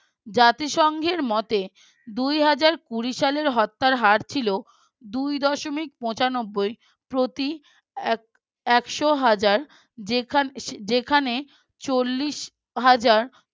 জাতিসংঘের মতে দুই হাজার কুড়ি সালের হত্যার হার ছিল দুই দশমিক পচানব্বই প্রতি একশ হজার যেখানে চল্লিশ হাজার